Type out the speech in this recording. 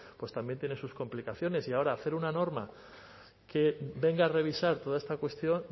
pues también tiene sus complicaciones y ahora hacer una norma que venga a revisar toda esta cuestión